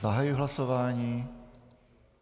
Zahajuji hlasování.